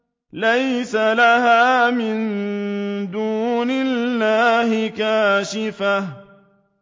لَيْسَ لَهَا مِن دُونِ اللَّهِ كَاشِفَةٌ